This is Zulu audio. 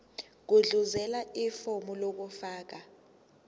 gudluzela ifomu lokufaka